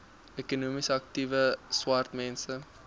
ekonomies aktiewe swartmense